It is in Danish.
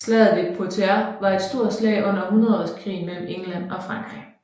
Slaget ved Poitiers var et stor slag under hundredeårskrigen mellem England og Frankrig